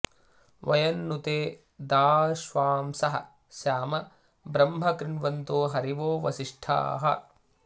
वयं नु ते दाश्वांसः स्याम ब्रह्म कृण्वन्तो हरिवो वसिष्ठाः